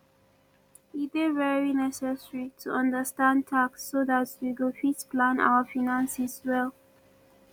e dey very necessary to understand tax so dat we go fit plan our finances well